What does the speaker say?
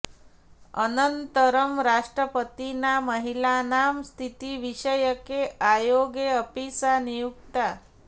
अनन्तरं राष्ट्रपतिना महिलानां स्थितिविषयके आयोगे अपि सा नियुक्ता